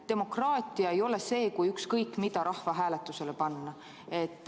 Demokraatia ei ole see, kui ükskõik mida rahvahääletusele panna.